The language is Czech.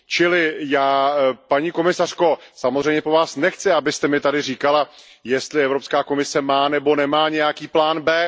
Čili já, paní komisařko, samozřejmě po Vás nechci, abyste mi tady říkala, jestli Evropská komise má nebo nemá nějaký plán B.